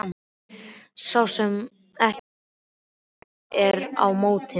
Sá sem ekki er með mér er á móti mér.